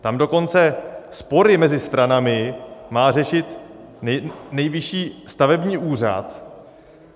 Tam dokonce spory mezi stranami má řešit Nejvyšší stavební úřad.